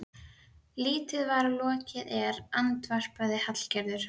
Lítið var lokið er, andvarpaði Hallgerður.